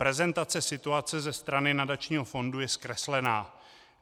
Prezentace situace ze strany nadačního fondu je zkreslená.